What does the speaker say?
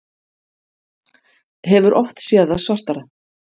Hefur oft séð það svartara